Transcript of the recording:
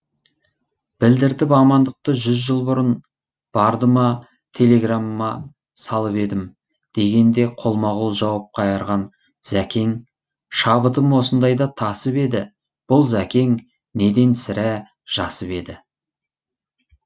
білдіртіп амандықты жүз жыл бұрын барды ма телеграмма салып едім дегенде қолма қол жауап қайырған зәкең шабытым осындайда тасып еді бұл зәкең неден сірә жасып еді